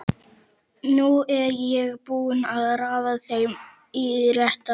Nú er ég búinn að raða þeim í rétta röð.